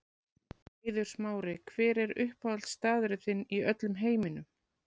Eiður Smári Hver er uppáhaldsstaðurinn þinn í öllum heiminum?